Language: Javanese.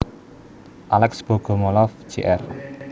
Alex Bogomolov Jr